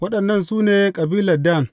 Waɗannan su ne kabilan Dan.